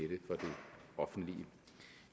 offentlige